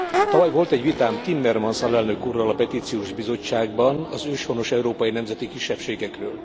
Tavaly volt egy vitám Timmermans alelnök úrral a Petíciós Bizottságban az őshonos európai nemzeti kisebbségekről.